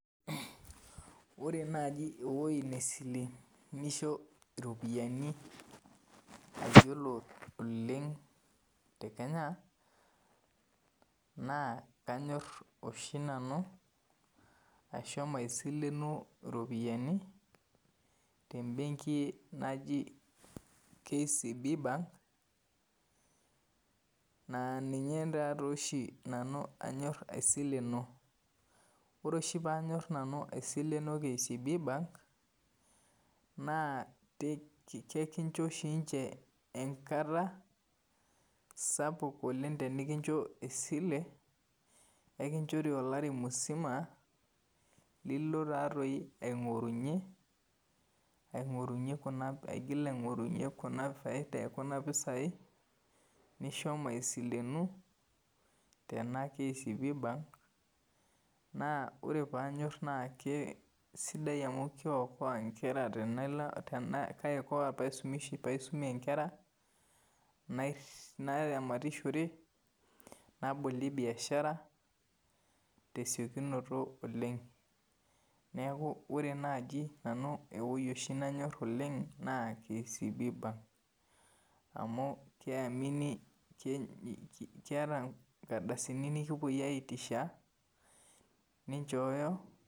Ore naaji ewueji neisilenisho iropiyiani ayiolo oleng te kenya naa kanyor oshi nanu ashomo aisilenu iropiyiani tembenki naji kcb bank naaninye taaoshi anyor aisileno ore oshi paanyor aisileno kcb bank naa kekincho oshi ninche enkata tenikincho esile enkinchori olari musima lino aing'orunyie kuna faida ekuna pisai nishomo aisilenu tena kcb bank naa ore paanyor naa keisaidia amu keikoa ingera pee aramatishore nabolie biashara tesiokinoto oleng neeku ore naaji nanu ewueji nanyor oleng naa kcb bank amu keyamini keeta inkarsaini nikipuoi aisho aitisha ninchooyo.